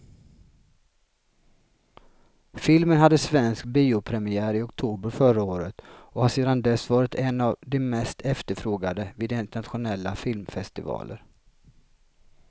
Filmen hade svensk biopremiär i oktober förra året och har sedan dess varit en av de mest efterfrågade vid internationella filmfestivaler.